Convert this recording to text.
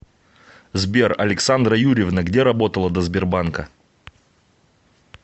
сбер александра юрьевна где работала до сбербанка